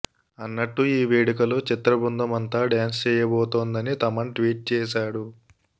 అన్నట్టు ఈ వేడుకలో చిత్రబృందం అంతా డ్యాన్స్ చేయబోతుందని తమన్ ట్వీట్ చేశాడు